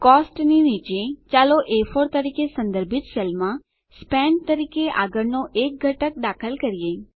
costs ની નીચે ચાલો એ4 તરીકે સંદર્ભિત સેલમાં સ્પેન્ટ તરીકે આગળનો એક ઘટક દાખલ કરીએ